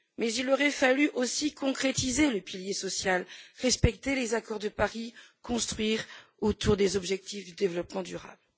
Il aurait fallu aussi concrétiser le pilier social, respecter les accords de Paris, construire autour des objectifs du développement durable.